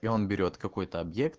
и он берет какой-то объект